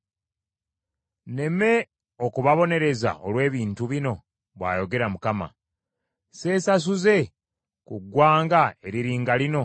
Nneme okubabonereza olw’ebintu bino?” bw’ayogera Mukama . “Seesasuze ku ggwanga eriri nga lino?”